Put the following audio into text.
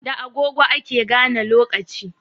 Da agogo ake gane lokaci